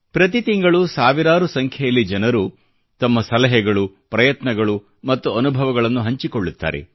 ಪ್ರತೀ ತಿಂಗಳೂ ಸಾವಿರಾರು ಸಂಖ್ಯೆಯಲ್ಲಿ ಜನರು ತಮ್ಮ ಸಲಹೆಗಳು ಪ್ರಯತ್ನಗಳು ಮತ್ತು ಅನುಭವಗಳನ್ನು ಹಂಚಿಕೊಳ್ಳುತ್ತಾರೆ